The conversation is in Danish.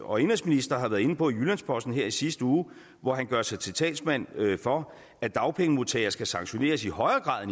og indenrigsminister var inde på i jyllands posten her i sidste uge hvor han gjorde sig til talsmand for at dagpengemodtagere skal sanktioneres i højere grad